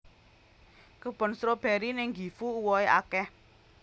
Kebon stroberi ning Gifu uwohe akeh